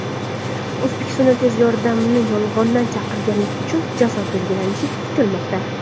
O‘zbekistonda tez yordamni yolg‘ondan chaqirganlik uchun jazo belgilanishi kutilmoqda.